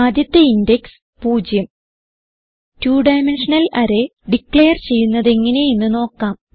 ആദ്യത്തെ index 0 2 dimensional array declare ചെയ്യുന്നതെങ്ങനെ എന്ന് നോക്കാം